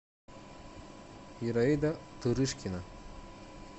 ираида тырышкина